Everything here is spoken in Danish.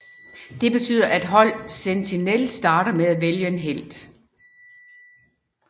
Det betyder at hold Sentinel starter med at vælge en helt